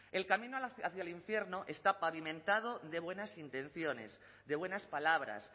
el camino hacia el infierno está pavimentando de buenas intenciones de buenas palabras